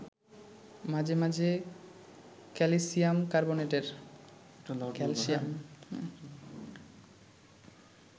মাঝে মাঝে ক্যালসিয়াম কার্বোনেটের